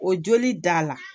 O joli d'a la